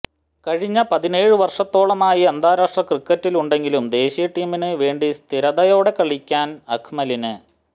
കഴിഞ്ഞ പതിനേഴ് വർഷത്തോളമായി അന്താരാഷ്ട്ര ക്രിക്കറ്റിലുണ്ടെങ്കിലും ദേശീയ ടീമിന് വേണ്ടിസ്ഥിരതയോടെ കളിക്കാൻ അക്മലിന്